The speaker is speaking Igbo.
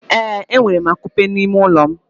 Ee, enwere akupe n'ime ụlọ m.